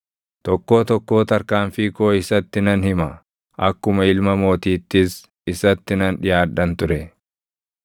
Tokkoo tokkoo tarkaanfii koo isatti nan hima; akkuma ilma mootiittis isatti nan dhiʼaadhan ture.